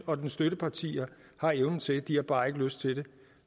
og dens støttepartier har evnen til de har bare ikke lyst til det